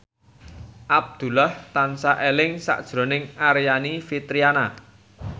Abdullah tansah eling sakjroning Aryani Fitriana